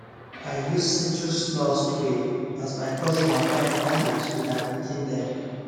i use citrussmell spray as my cousin waka enter house with her pikin them